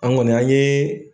An kɔni an ye.